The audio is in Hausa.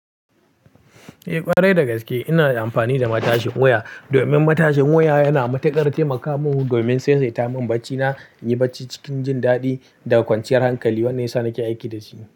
Eh, ƙwarai da gaske ina amfani da matashin wuya. Domin matashin wuya yana matuƙar taimaka min domin saisaita mun bacina, in yi bacci cikin jin daɗi da kwanciyar hankali. Wannan ya sa nake aiki da shi.